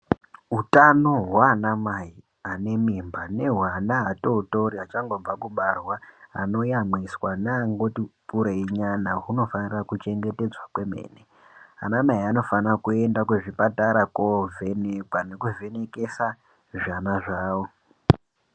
Utano hwaanamai anemimba nehweana atootori achangobva kubarwa, anoyamwiswa neangoti kureinyana hunofanira kuchengetedzwa kwemene. Anamai anofana kuenda kuzvipatara koovhenekwa nekuvhenekesa zvana zvavo.